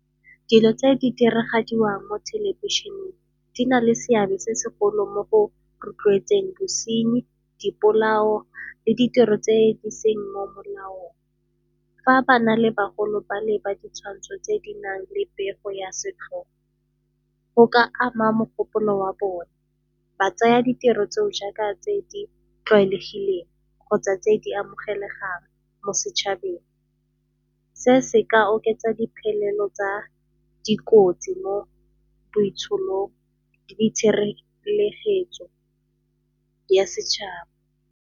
Dilo tse di diragadiwang mo thelebišeneng di na le seabe se segolo mo go rotloetseng bosenyi, dipolao le ditiro tse di seng mo molaong. Fa ba na le bagolo ba le ba ditshwantsho tse di nang le pego ya setlhogo go ka ama mogopolo wa bone, ba tsaya ditiro tse o jaaka tse di tlwaelegileng kgotsa tse di amogelegang mo setšhabeng. Se se ka oketsa di tsa dikotsi mo botshelong le di tshireletso ya setšhaba.